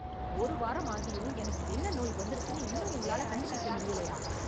ஒரு வாரம் ஆகியும் எனக்கு என்ன நோய் வந்திருக்குனு இன்னும் உங்களால கண்டு பிடிக்க முடியலயா